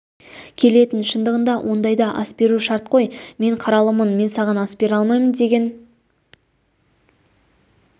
келетін шындығында ондайда ас беру шарт қой мен қаралымын мен саған ас бере алмаймын деген